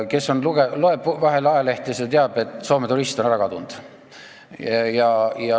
Kes loeb vahel ajalehti, see teab, et Soome turist on ära kadund.